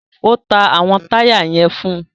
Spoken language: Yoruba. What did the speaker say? O ta awọn taya yẹn fún